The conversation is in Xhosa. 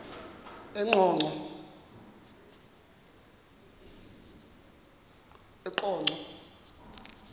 eqonco